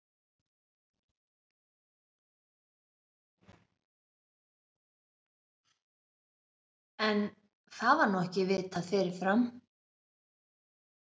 En, það var nú ekki vitað fyrirfram!